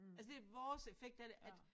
Altså det vores effekt af det at